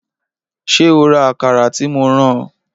Ṣé o ra Àkàrà tí mo rán ọ